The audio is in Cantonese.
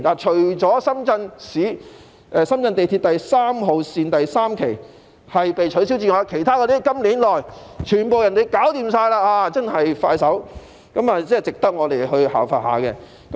除了深圳地鐵3號線第三期被取消外，其他鐵路在今年內全部完成，真的十分迅速，值得我們效法。